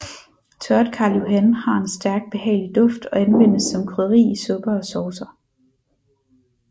Tørret Karl Johan har en stærk behagelig duft og anvendes som krydderi i supper og saucer